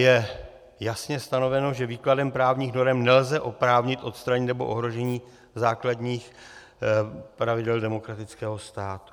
Je jasně stanoveno, že výkladem právních norem nelze oprávnit odstranění nebo ohrožení základů pravidel demokratického státu.